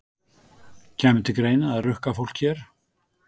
Kæmi til greina að rukka fólk hér?